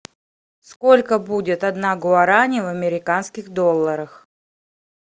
сколько будет одна гуарани в американских долларах